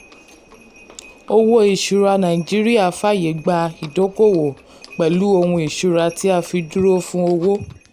owó ìṣúra nàìjíríà fàyè gba ìdókòwò pẹ̀lú ohun ìṣúra tí a fi dúró fún owó.